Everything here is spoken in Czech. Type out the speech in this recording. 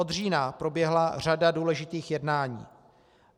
Od října proběhla řada důležitých jednání.